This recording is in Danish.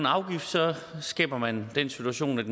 afgift skaber man den situation at